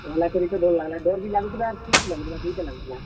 ପହେଲା କରି ତ ଡର୍ ଲାଗ୍ ଲା, ଡର୍ ବି ଲାଗ୍ ଲା ଆଉ ଖୁସ୍ ବି ଲାଗୁଥିଲା ଦୁହିଟା ଲାଗୁଥିଲା।